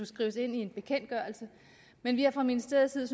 skrives ind i en bekendtgørelse men vi har fra ministeriets side